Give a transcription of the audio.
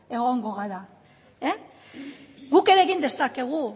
egongo gara guk ere egin dezakegu